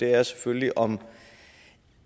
er selvfølgelig om